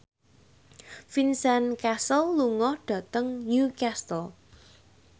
Vincent Cassel lunga dhateng Newcastle